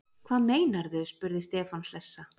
Hvað meinarðu? spurði Stefán hlessa.